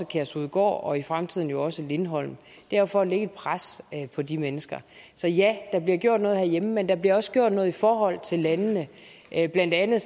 kærshovedgård og i fremtiden også lindholm det er jo for at lægge et pres på de mennesker så ja der bliver gjort noget herhjemme men der bliver også gjort noget i forhold til landene blandt andet